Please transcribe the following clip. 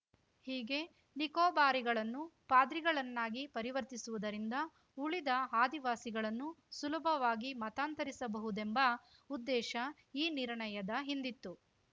ಹೀಗೆ ನಿಕೋಬಾರಿಗಳನ್ನು ಪಾದ್ರಿಗಳನ್ನಾಗಿ ಪರಿವರ್ತಿಸುವುದರಿಂದ ಉಳಿದ ಆದಿವಾಸಿಗಳನ್ನು ಸುಲಭವಾಗಿ ಮತಾಂತರಿಸಬಹುದೆಂಬ ಉದ್ದೇಶ ಈ ನಿರ್ಣಯದ ಹಿಂದಿತ್ತು